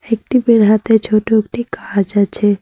টিপের হাতে ছোট একটি গাছ আছে।